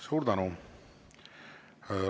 Suur tänu!